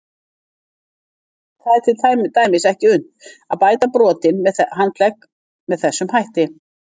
Það er til dæmis ekki unnt að bæta brotinn handlegg með þessum hætti.